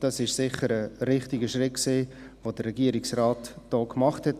Das war sicher ein richtiger Schritt, den der Regierungsrat da gemacht hat.